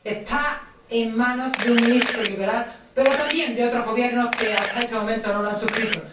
Está en manos de un ministro liberal, pero también de otros gobiernos que hasta este momento no lo han suscrito.